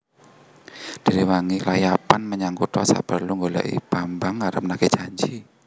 Diréwangi klayapan menyang kutha saperlu nggolèki Bambang arep nagih janji